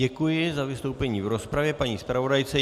Děkuji za vystoupení v rozpravě paní zpravodajce.